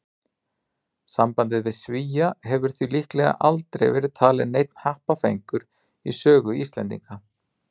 Sambandið við Svía hefur því líklega aldrei verið talinn neinn happafengur í sögu Íslendinga.